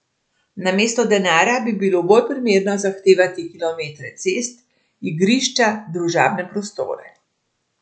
Namesto denarja bi bilo bolj primerno zahtevati kilometre cest, igrišča, družabne prostore.